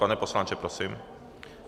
Pane poslanče, prosím.